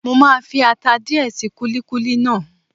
Mo máa fi ata díẹ̀ sí kúlíkúlí náà.